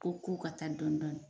Ɔ K'u ka taa dɔɔnidɔɔni